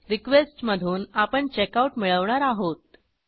request मधून आपण checkout मिळवणार आहोत